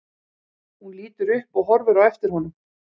Hún lítur upp og horfir á eftir honum.